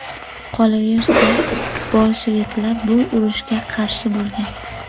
Qolaversa, bolsheviklar bu urushga qarshi bo‘lgan.